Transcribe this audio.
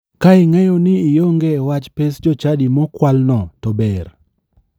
Ka ing'eyo ni ionge e wach pes jochadi ma okwalno to ber.